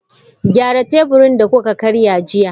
Gyara teburin da kuka karya jiya!